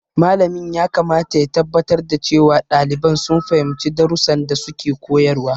Malamin yakamata ya tabbatar da cewa ɗalibai sun fahimci darussan da suke koyarwa.